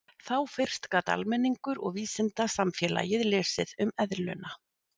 Þá fyrst gat almenningur og vísindasamfélagið lesið um eðluna.